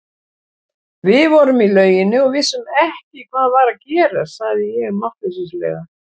Við vorum í lauginni og vissum ekki hvað var að gerast, sagði ég máttleysislega.